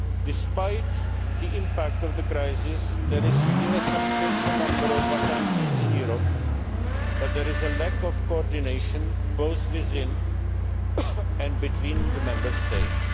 play. Despite the impact of the crisis, there are still a substantial number of vacancies in Europe, but there is a lack of coordination both within and between the Member